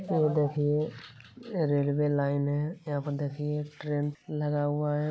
ये देखिए railway line है। यहां पर देखिए एक ट्रेन लगा हुआ है।